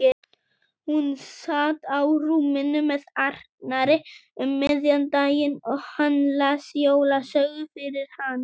Hún sat á rúminu með Arnari um miðjan daginn og hann las jólasögu fyrir hana.